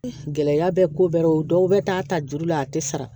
Gɛlɛya bɛ ko bɛɛ la o dɔw bɛ taa ta juru la a tɛ sara